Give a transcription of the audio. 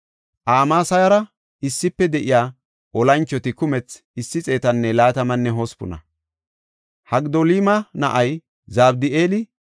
Amasayara issife de7iya olanchoti kumthi 128. Hagidolima na7ay Zabdi7eeli kahineta ayseysa.